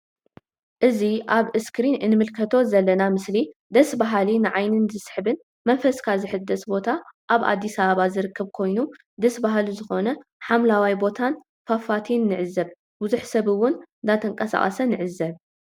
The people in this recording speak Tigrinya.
እዚ ኣብ እስክሪን ንምልከቶ ዘለና ምስሊ ደስ በሃሊ ንዓይኒ ዝስሕብ መንፈስካ ዝሕደስ ቦታ ኣብ ኣዲስ ኣበባ ዝርከብ ኮይኑ ደስ በሃሊ ዝኮነ ሓምለዋይ ቦታን ፋፋቲን ንዕዘብ ብዙሕ ሰብ እውን ዳተንቀሳቀሰ ንዕዘብ።